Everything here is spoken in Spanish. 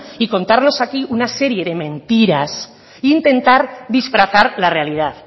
y contarnos aquí una serie de mentiras intentar disfrazar la realidad